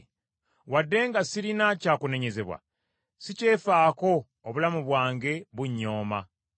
“Wadde nga sirina kyakunenyezebwa, sikyefaako, obulamu bwange mbunyooma.